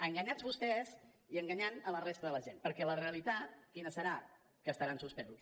enganyats vostès i enganyant la resta de la gent perquè la realitat quina serà que estaran suspesos